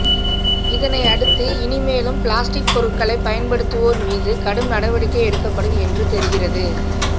இதனையடுத்து இனிமேலும் பிளாஸ்டிக் பொருட்களை பயன்படுத்துவோர் மீது கடும் நடவடிக்கை எடுக்கப்படும் என்று தெரிகிறது